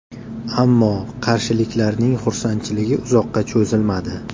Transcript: Ammo qarshiliklarning xursandchiligi uzoqqa cho‘zilmadi.